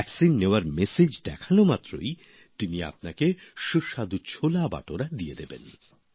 টিকা নেওয়ার মেসেজ দেখানো মাত্রই তিনি আপনাকে সুস্বাদু ছোলা বাটোরা দিয়ে দেবেন